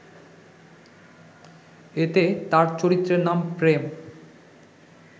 এতে তার চরিত্রের নাম প্রেম